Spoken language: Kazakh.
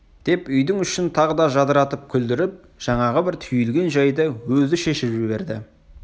деп үйдің ішін тағы да жадыратып күлдіріп жаңағы бір түйілген жайды өзі шешіп жіберді